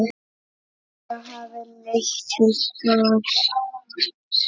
Það hafi leitt til skorts.